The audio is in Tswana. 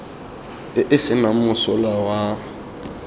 e e senang mosola wa